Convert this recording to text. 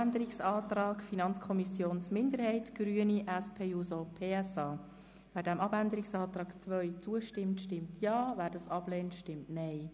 Wer diese annimmt, stimmt Ja, wer diese ablehnt, stimmt Nein.